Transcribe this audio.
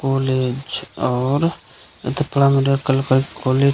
college और एता पारा मेडिकल के कॉलेज --